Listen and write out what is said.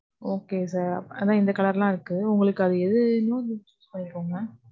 Okay sir. அதான் இந்த colour லாம் இருக்கு. உங்களுக்கு அது, எது வேணுமோ நீங்க choose பண்ணிக்கோங்க